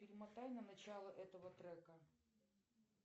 перемотай на начало этого трека